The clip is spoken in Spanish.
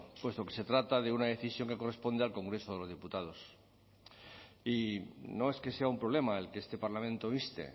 puesto que se trata de una decisión que corresponde al congreso de los diputados y no es que sea un problema el que este parlamento inste